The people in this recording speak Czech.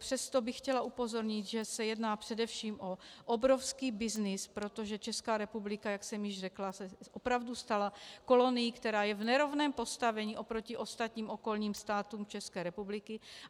Přesto bych chtěla upozornit, že se jedná především o obrovský byznys, protože Česká republika, jak jsem již řekla, se opravdu stala kolonií, která je v nerovném postavení oproti ostatním okolním státům České republiky.